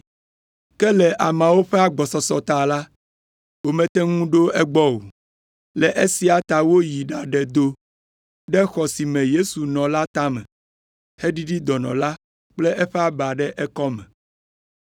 Ke le amewo ƒe agbɔsɔsɔ ta la, womete ŋu ɖo egbɔ o. Le esia ta woyi ɖaɖe do ɖe xɔ si me Yesu nɔ la tame, heɖiɖi dɔnɔ la kple eƒe aba ɖe ekɔme.